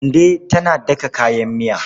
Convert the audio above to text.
Kande tana daka kayan miya.